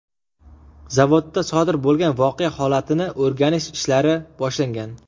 Zavodda sodir bo‘lgan voqea holatini o‘rganish ishlari boshlangan.